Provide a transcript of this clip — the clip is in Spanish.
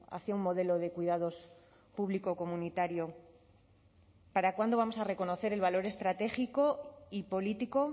hacia un modelo de cuidados público o comunitario para cuándo vamos a reconocer el valor estratégico y político